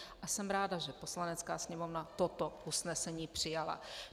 A jsem ráda, že Poslanecká sněmovna toto usnesení přijala.